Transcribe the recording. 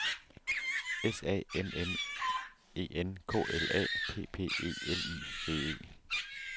S A M M E N K L A P P E L I G E